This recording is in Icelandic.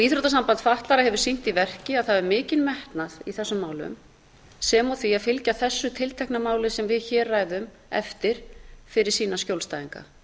íþróttasamband fatlaðra hefur sýnt í verki að það hefur mikinn metnað í þessum málum sem og því að fylgja þessu tiltekna máli sem við hér ræðum eftir fyrir sína skjólstæðinga